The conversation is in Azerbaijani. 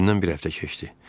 Üstündən bir həftə keçdi.